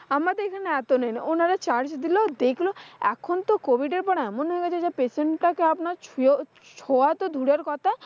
আমাদের এখানে এত নেয় না। উনারা charge দিল দেকলো। এখন তো covid এর পরে এমন হয়ে গেছে যে patient টাকে আপনার সুয়েও সোওয়াতো দুরের কথা,